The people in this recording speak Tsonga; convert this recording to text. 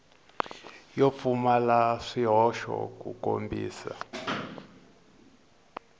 yo pfumala swihoxo ku kombisa